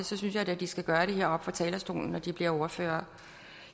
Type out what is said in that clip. det synes jeg da de skal gøre det heroppe fra talerstolen når de bliver ordførere